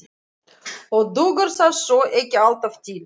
Og dugar það þó ekki alltaf til.